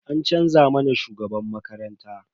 An canza mana shugaban makaranta.